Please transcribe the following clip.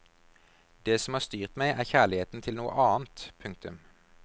Det som har styrt meg er kjærligheten til noe annet. punktum